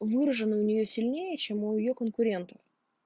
выражены у нее сильнее чем у её конкурентов